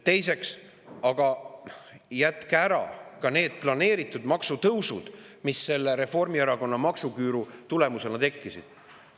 Teiseks, jätke ära ka need planeeritud maksutõusud, mis selle Reformierakonna maksuküüru tulemusena on tekkinud.